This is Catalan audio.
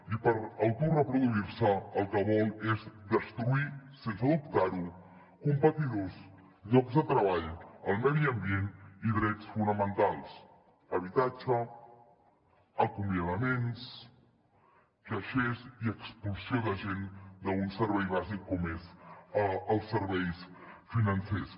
i per autoreproduir se el que vol és destruir sense dubtar ho competidors llocs de treball el medi ambient i drets fonamentals habitatge acomiadaments caixers i expulsió de gent d’un servei bàsic com són els serveis financers